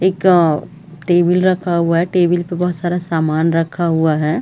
एक आ टेबिल रखा हुआ है टेबिल पे बहुत सारा सामान रखा हुआ है।